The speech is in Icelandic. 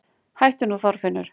Hættu nú Þorfinnur!